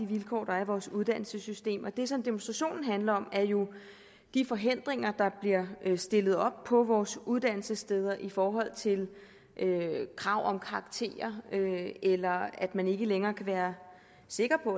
vilkår der er i vores uddannelsessystem det som demonstrationen handler om er jo de forhindringer der bliver stillet op på vores uddannelsessteder i forhold til krav om karakterer eller at man ikke længere kan være sikker på